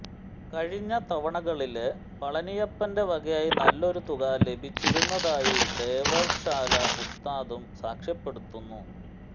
കഴിഞ്ഞ തവണകളില് പളനിയപ്പന്റെ വകയായി നല്ലൊരു തുക ലഭിച്ചിരുന്നതായി ദേവര്ശോല ഉസ്താദും സാക്ഷ്യപ്പെടുത്തുന്നു